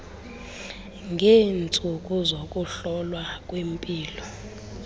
ngeentsuku zokuhlolwa kwempilo